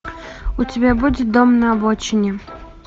у тебя будет дом на обочине